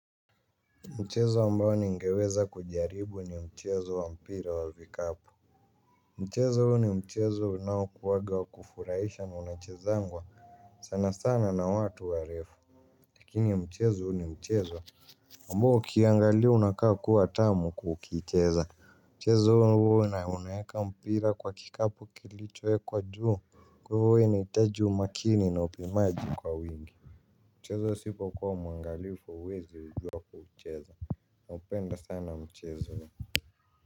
Mchezo ambao ningeweza kujaribu ni mchezo wa mpira wa vikapu. Mchezo huu ni mchezo unaokuwaga wa kufuraisha na unachezangwa sana sana na watu warefu. Lakini mchezo huu ni mchezo ambao ukiangali unakaa kuwa tamu kukicheza. Mchezo huu na unaweka mpira kwa kikapu kilichowekwa juu. Kwa hivyo huwa inahitaji umakini na upimaji kwa wingi. Mchezo usipo kuwa mwangalifu uwezi ijuwa kucheza. Upenda sana mchezo.